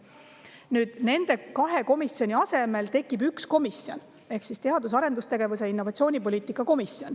Nüüd tekib nende kahe komisjoni asemele üks komisjon ehk teadus- ja arendustegevuse ning innovatsiooni komisjon.